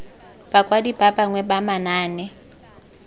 bakwadi ba bangwe ba manaane